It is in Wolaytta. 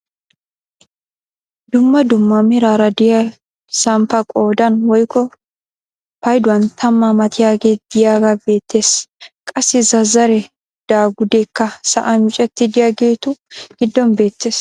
Dumma dumma meraara de'iyaa samppaay qoodan woykko payduwaan tammaa matiyaagee de'iyaagee beettees. Qassi zazaree dagudeekka sa'an miccetti de'iyaagetu giddon beettees.